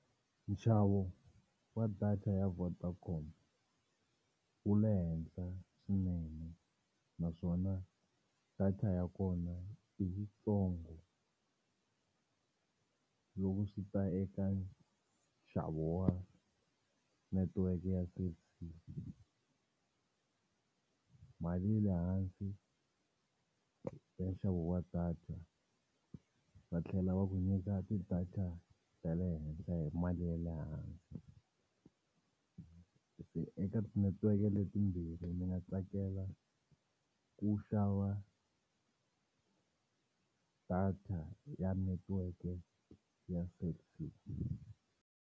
Nxavo wa data ya Vodacom wu le henhla swinene naswona data ya kona i yitsongo. Loko swi ta eka nxavo wa netiweke ya Cell C mali yi le hansi ya nxavo wa data va tlhela va ku nyika ti-data ta le henhla hi mali ya le hansi. Se eka tinetiweke letimbirhi ndzi nga tsakela ku xava data ya netiweke ya Cell C.